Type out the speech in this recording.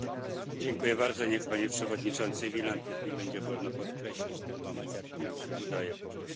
Panie Przewodniczący Wieland, niech mi będzie wolno podkreślić ten moment, jak nam się udaje po prostu współpracować.